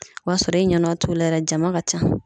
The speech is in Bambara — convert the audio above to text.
O y'a sɔrɔ e ɲɛnɔ t'u la yɛrɛ jama ka ca